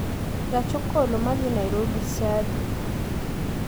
Gach okolo ma dhi nairobi saa adi